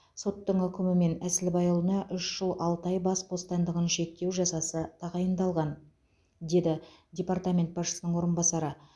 соттың үкімімен әсілбайұлына үш жыл алты ай бас бостандығын шектеу жазасы тағайындалған деді департамент басшысының орынбасары